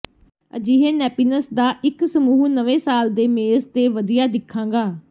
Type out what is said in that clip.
ਅਜਿਹੇ ਨੈਪਿਨਸ ਦਾ ਇੱਕ ਸਮੂਹ ਨਵੇਂ ਸਾਲ ਦੇ ਮੇਜ਼ ਤੇ ਵਧੀਆ ਦਿਖਾਂਗਾ